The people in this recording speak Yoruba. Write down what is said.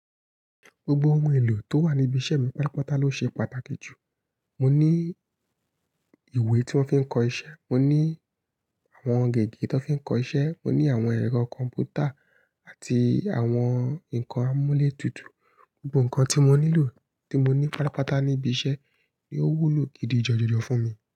Gbogbo ohun èlò tó wà ní ibi iṣẹ́ mi, pálapàta ló ṣe pàtàkì jù. Mo ní ìwé tí wọ́n fi ń kọ iṣẹ́, mo ní àwọn gègé tí wọ́n fi ń kọ iṣẹ́, mo ní àwọn ẹ̀rọ kọ̀m̀pútà àti àwọn ǹkan àmúlétùtù. Gbogbo ǹkan tí mo nílò tí mo ní pátapàta ní ibi iṣẹ́ ni ó wúlò gidi jọjọ fún mi.